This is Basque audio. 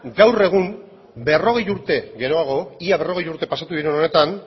gaur egun berrogei urte geroago ia berrogei urte pasatu diren honetan